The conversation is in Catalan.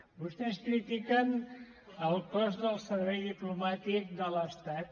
vostès critiquen el cost del servei diplomàtic de l’estat